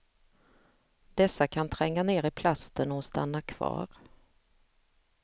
Dessa kan tränga ner i plasten och stanna kvar.